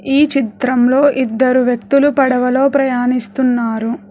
ఈ చిత్రంలో ఇద్దరు వ్యక్తులు పడవలో ప్రయాణిస్తున్నారు.